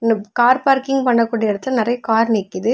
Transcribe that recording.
ப் car parking பண்ண கூடிய இடத்தில நெறைய கார் நிக்குது.